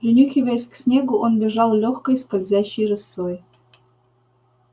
принюхиваясь к снегу он бежал лёгкой скользящей рысцой